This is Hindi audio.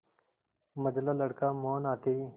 मंझला लड़का मोहन आते ही